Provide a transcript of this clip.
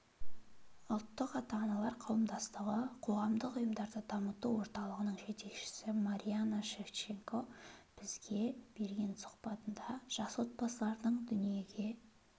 ұлттық ата-аналар қауымдастығы қоғамдық ұйымдарды дамыту орталығының жетекшісі марианна шевченко бізге берген сұхбатында жас отбасылардың дүниеге